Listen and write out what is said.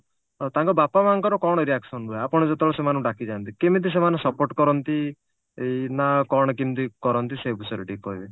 ତାଙ୍କ ବାପା ମାଆଙ୍କର କଣ reaction ରୁହେ ଆପଣ ଯେତେବେଳେ ସେମାନଙ୍କୁ ଡାକିଯାଆନ୍ତି କେମିତି ସେମାନେ support କରନ୍ତି ଏଇ ନା କଣ କେମିତି କରନ୍ତି ସେଇ ବିଷୟରେ ଟିକେ କହିବେ